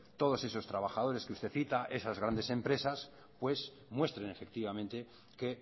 todos esos trabajadores que usted cita esas grandes empresas pues muestren efectivamente que